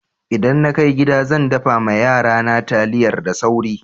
Idan na kai gida, zan daffa ma yara na taliyar da sauri.